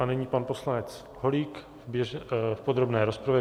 A nyní pan poslanec Holík v podrobné rozpravě.